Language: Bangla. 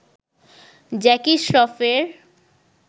জ্যাকি স্রফের